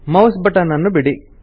mouse button ನ್ನು ಬಿಡಿ